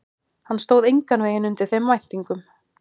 Hann stóð engan veginn undir þeim væntingum.